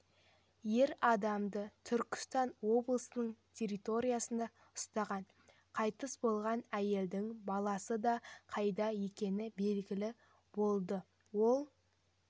ер адамды түркістан облысының территориясында ұстаған қайтыс болған әйелдің баласы да қайда екені белгілі болды ол